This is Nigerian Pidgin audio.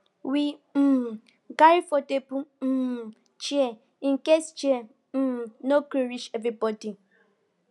we um carry foldable um chair in case chair um no go reach everybody